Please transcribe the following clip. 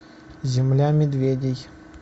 земля медведей